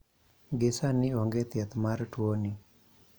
gi sani onge thieth mar tuo ni